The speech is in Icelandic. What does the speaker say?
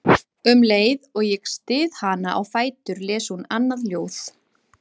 Um leið og ég styð hana á fætur les hún annað ljóð